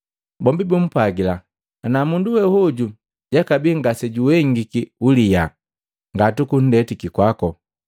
Bombi bumpwagila, “Ana mundu we hoju jakabia ngasejuhengiki uliyaa ngatukunndetiki kwako.”